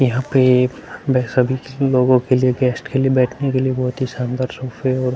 यहाँ पे सभी लोगों के लिए गेस्ट के लिए बैठने के लिए बोहोत ही शानदार सोफे और --